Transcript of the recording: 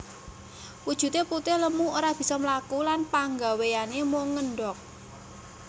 Wujude putih lemu ora bisa mlaku lan panggawéyané mung ngendhog